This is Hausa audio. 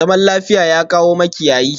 Zaman lafiya, ya kawo makiyayi?